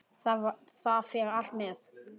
Það fer allt með.